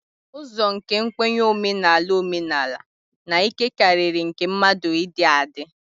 Ụzọ nke nkwenye omenala omenala na ike karịrị nke mmadụ ịdị adị